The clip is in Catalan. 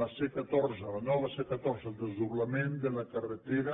la c catorze la nova c catorze el desdoblament de la carretera